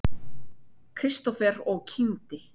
Kristófer og kímdi.